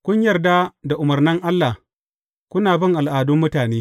Kun yar da umarnan Allah, kuna bin al’adun mutane.